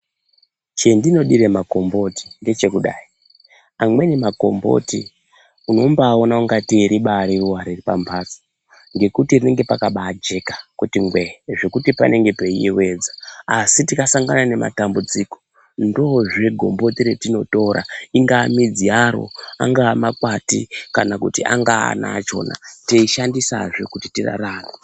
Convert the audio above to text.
Chendinodire makomboti ngechekudai, amweni makomboti unombaaona ingatei ribaari ruwa riri pambatso ngekuti rinenge rakabaajeka kuti ngwee zvekuti panenge peiyewedza. Asi tikasangana nematambudziko, ndoozve gomboti retinotora, ingaa midzi yaro, angaa makwati, kana kuti angaa ana achona teishandisazve kuti tirarame.